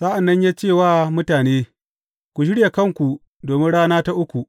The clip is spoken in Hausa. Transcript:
Sa’an nan ya ce wa mutane, Ku shirya kanku domin rana ta uku.